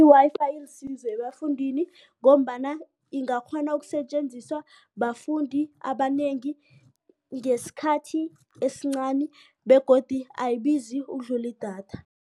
I-Wi-Fi ilisizo ebafundini ngombana ingakghona ukusetjenziswa bafundi abanengi ngesikhathi esincani begodu ayibizi ukudlula idatha.